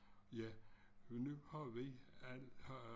Ja nu har vi al haft jul haft